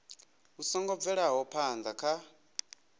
vhu songo bvelaho phana kha